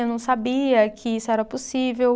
Eu não sabia que isso era possível.